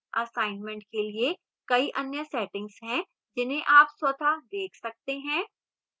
assignment के लिए कई अन्य settings हैं जिन्हें आप स्वतः देख सकते हैं